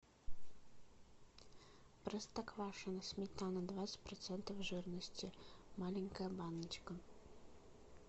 простоквашино сметана двадцать процентов жирности маленькая баночка